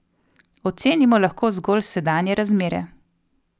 Ocenimo lahko zgolj sedanje razmere.